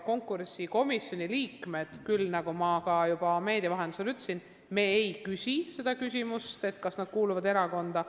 Konkursikomisjoni liikmed on seda küll, nagu ma ka juba meedia vahendusel ütlesin, ehkki meie ei küsi seda küsimust, kas nad kuuluvad erakonda.